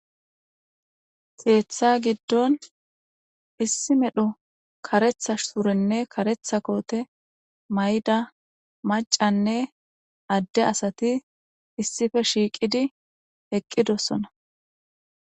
keeththa giddon issi medhu karethash surenne karetha koote may7da macanne adde asati issife shiiqidi eqqidossona